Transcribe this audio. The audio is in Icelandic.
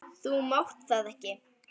Þú mátt það ekki!